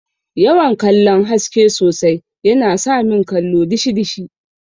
yawan kallon haske sosai yana samin kallo dishi dishi.